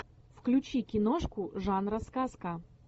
включи киношку жанра сказка